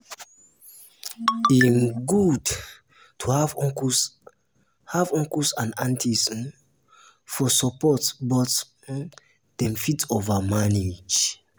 e um good to have uncles and have uncles and aunties um for support but um dem fit over-manage.